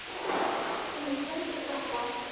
Hún er svöng rotta.